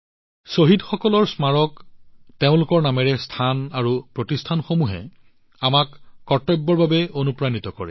শ্বহীদসকলৰ স্মাৰক স্থান আৰু প্ৰতিষ্ঠানবোৰে তেওঁলোকৰ নামেৰে আমাক কৰ্তব্যৰ বাবে অনুপ্ৰাণিত কৰে